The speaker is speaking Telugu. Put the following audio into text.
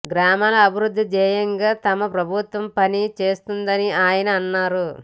గ్రామాల అభివృద్ది ధ్యేయంగా తమ ప్రభుత్వం పని చేస్తుందని ఆయన అన్నారు